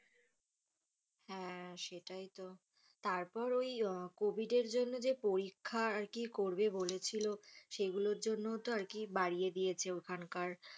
হ্যাঁ সেটাই তো তারপর ওই COVID এর জন্য যে পরীক্ষা করবে যে বলেছিল সেগুলোর জন্য তো বাড়িয়ে দিয়েছি ওখানকার,